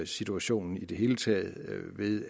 situationen i det hele taget ved